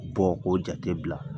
Bɔn ko jate bila